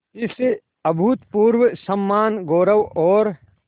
इस अभूतपूर्व सम्मानगौरव और